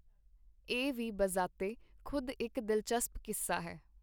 ਇਹ ਵੀ ਬਜ਼ਾਤੇ-ਖੁਦ ਇਕ ਦਿਲਚਸਪ ਕੀੱਸਾ ਹੈ.